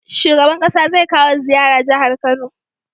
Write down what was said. Shugaban ƙasa zai kawo ziyara jahar kano